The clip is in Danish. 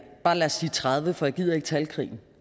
bare sige tredive for jeg gider ikke talkrigen